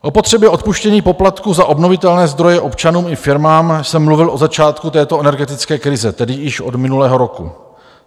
O potřebě odpuštění poplatků za obnovitelné zdroje občanům i firmám jsem mluvil od začátku této energetické krize, tedy již od minulého roku.